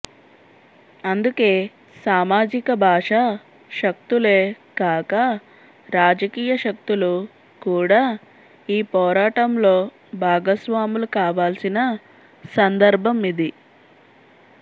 అందుకే సామాజిక భాషా శక్తులే కాక రాజకీయ శక్తులు కూడా ఈ పోరాటంలో భాగస్వాములు కావాల్సిన సందర్భం ఇది